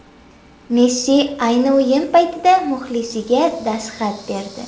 Messi ayni o‘yin paytida muxlisiga dastxat berdi .